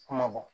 Kuma bɔ